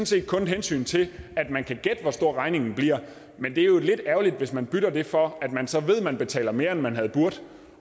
set kun et hensyn til at man kan gætte hvor stor regningen bliver men det er jo lidt ærgerligt hvis man bytter det for at man så ved at man betaler mere end man havde burdet